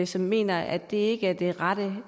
som mener at det ikke er det rette